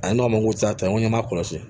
A ye n ma ko sa ye n ko n ma kɔlɔsi